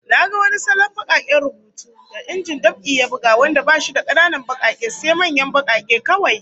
Na ga wani salon bakaken rubutu da injin dab'i ya buga wanda bashi da kananan bakake, sai manyan bakake kawai